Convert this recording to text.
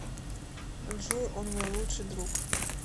джой он мой лучший друг